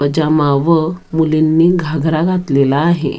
पैजामा व मुलींनी घागरा घातलेला आहे.